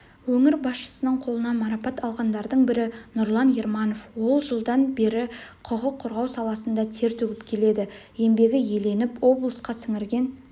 өңір басшысының қолынан марапат алғандардың бірі нұрлан ерманов ол жылдан бері құқық қорғау саласында тер төгіп келеді еңбегі еленіп облысқа сіңірген